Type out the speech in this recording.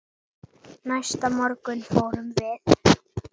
Næsta morgun fórum við